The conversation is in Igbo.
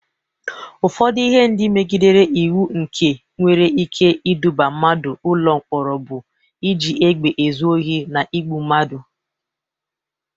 Ụfọdụ ihe ndị megidere iwu nke nwere ike iduba mmadụ ụlọ mkpọrọ bụ iji egbe ezu Ohi, na igbụ mmadụ.